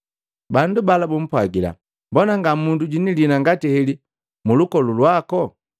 Bandu bala bumpwagila, “Mbona nga mundu jwini liina ngati heli mulukolu wako!”